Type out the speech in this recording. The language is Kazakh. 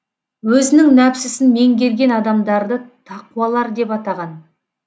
өзінің нәпсісін меңгерген адамдарды тақуалар деп атаған